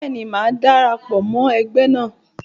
Bẹ́ẹ̀ni, màá dara pọ̀ mọ ẹgbẹ́ náà.